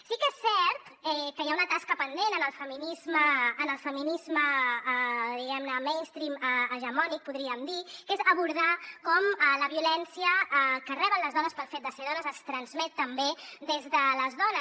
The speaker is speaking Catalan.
sí que és cert que hi ha una tasca pendent en el feminisme diguem ne mainstream hegemònic podríem dir que és abordar com la violència que reben les dones pel fet de ser dones es transmet també des de les dones